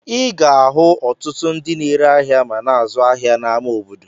Ị ga-ahụ ọtụtụ ndị na-ere ahịa ma na-azụ ahịa n'ama obodo.